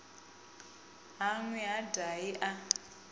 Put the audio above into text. ha nwi ha dahi a